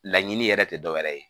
Laɲini yɛrɛ te dɔwɛrɛ ye